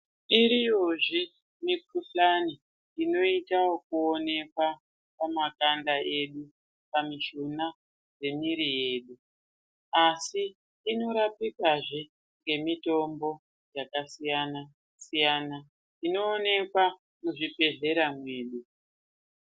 Iriyozve mikhuhlani inoitawo kuonekwa pamakanda edu, panezvona nemuviri yedu asi inorapikazve nemitombo yakasiyana siyana inooneka muzvibhedhlera medu.